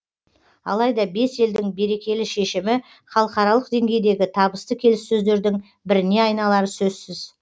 алайда бес елдің берекелі шешімі халықаралық деңгейдегі табысты келіссөздердің біріне айналары сөзсіз